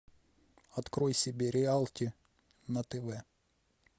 открой себе реалити на тв